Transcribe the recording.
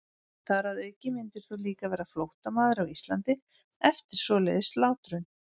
Þar að auki myndir þú líka verða flóttamaður á Íslandi eftir svoleiðis slátrun.